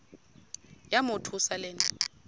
yamothusa le nto